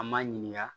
An m'a ɲininka